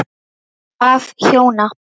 Af hjóna